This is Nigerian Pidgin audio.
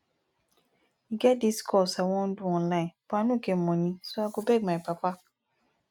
e get dis course i wan do do online but i no get money so i go beg my papa